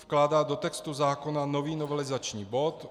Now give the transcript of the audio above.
Vkládá do textu zákona nový novelizační bod.